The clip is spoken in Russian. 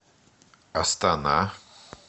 астана